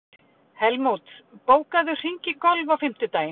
Helmút, bókaðu hring í golf á fimmtudaginn.